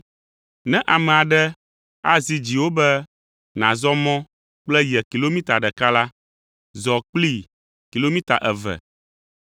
Ne ame aɖe azi dziwò be nàzɔ mɔ kple ye kilomita ɖeka la, zɔ kplii kilomita eve.